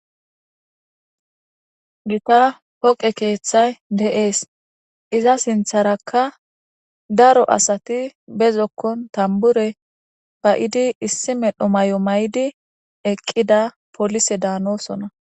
gita poqe keeththay de7ees iza sintharakka daro asati be zokkon tambure ba7idi issi medho may7o may7di eqqida polise daanosona